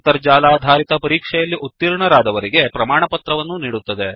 ಅಂತರ್ಜಾಲಾಧಾರಿತ ಪರೀಕ್ಷೆಯಲ್ಲಿ ಉತೀರ್ಣರಾದವರಿಗೆ ಪ್ರಮಾಣಪತ್ರವನ್ನೂ ನೀಡುತ್ತದೆ